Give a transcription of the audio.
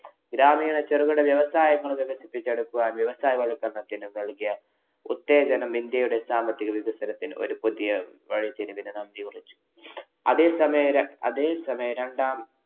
ഗ്രാമീണ ചെറുകിട വ്യവസായങ്ങളെ വികസിപ്പിച്ചെടുക്കാന്‍ വ്യവസായ വല്‍ക്കരണത്തിനു ഉത്തേജനം ഇന്‍ഡ്യയുടെ സാമ്പത്തിക വികസത്തിന് ഒരു പുതിയ വഴിത്തിരിവിനു നാന്ദി കുറിച്ചു. അതേസമയം ര ~ അതേ സമയം രണ്ടാം